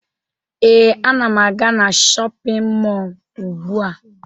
Ee, ana m aga na shọpịn mọọ ugbua